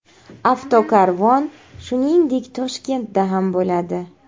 Avtokarvon, shuningdek, Toshkentda ham bo‘ladi.